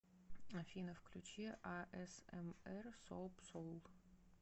афина включи а эс эм эр соап соул